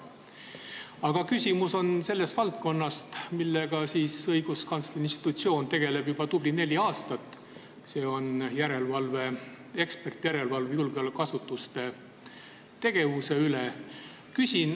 Aga küsimus on sellest valdkonnast, millega õiguskantsleri institutsioon on tegelenud juba tubli neli aastat – see on eksperdijärelevalve julgeolekuasutuste tegevuse üle.